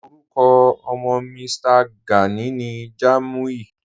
Orúkọ ọ̀mọ́ Mí̀stà Gánì ní Jámúì